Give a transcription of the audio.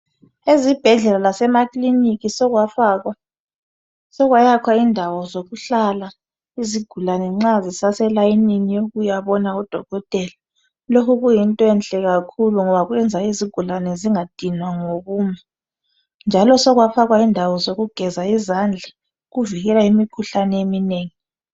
Ezibhedlela lasemaclinikhi sokwafakwa sokwayakhwa indawo zokuhlala izigulani nxa zisaselayinini yokuyabona udokotela lokhu kuyinto enhle kakhulu ngoba kuyayenza izigulani zingadinwa ngokuma njalo sokwafakwa indawo zokugeza izandla ukuvikela imikhuhlane eminengi